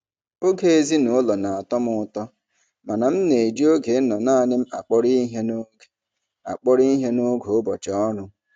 Oge ezinụlọ na-atọ m ụtọ mana m na-eji oge ịnọ naanị m akpọrọ ihe n'oge akpọrọ ihe n'oge ụbọchị ọrụ.